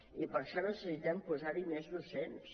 i per això necessitem posar hi més docents